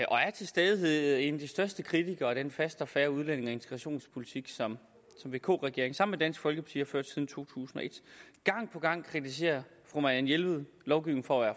og til stadighed er en af de største kritikere af den faste og fair udlændinge og integrationspolitik som vk regeringen sammen med dansk folkeparti har ført siden to tusind og et gang på gang kritiserer fru marianne jelved lovgivningen for at